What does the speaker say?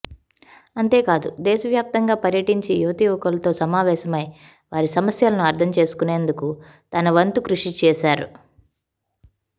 అంతేకాదు దేశవ్యాప్తంగాపర్యటించి యువతీయువకులతో సమావేశ మై వారిసమస్యలను అర్ధంచేసుకునేందుకు తన వంతు కృషిచేసారు